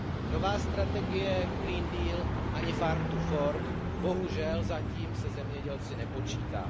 Nové strategie Green Deal ani Farm to fork bohužel zatím se zemědělci nepočítají.